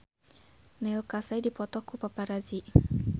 Neil Casey dipoto ku paparazi